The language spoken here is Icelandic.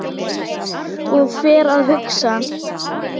Og fer að hugsa